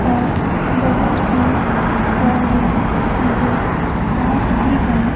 और बहुत सी गाड़ियां नजर आ रही है।